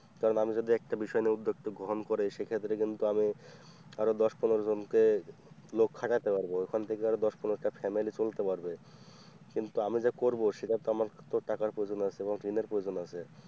কারণ আমি যদি একটা বিষয় নিয়ে উদ্যোগতা গ্রহণ করি সেক্ষেত্রে কিন্তু আমি আরো দশ পনেরো জনকে লোক খাটাতে পারবো ওখান থেকে দশ পনেরো টা family চলতে পারবে কিন্তু আমি যে করব সেটা তো আমার ক্ষেত্রেও তো টাকার প্রয়োজন আছে আমার ঋণ এর প্রয়োজন আছে।